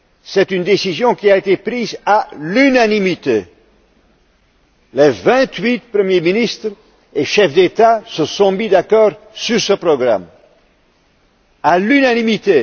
cette décision a été prise à l'unanimité les vingt huit premiers ministres et chefs d'État se sont accordés sur ce programme, à l'unanimité.